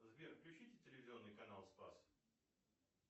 сбер включите телевизионный канал спас